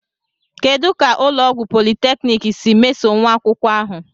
Kedu ka ụlọ ọgwụ polytechniki si meso nwa akwụkwọ ahụ?